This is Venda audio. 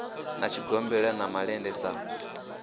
na tshigombela na malende sa